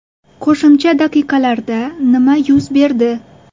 Qo‘shimcha daqiqalarda nima yuz berdi?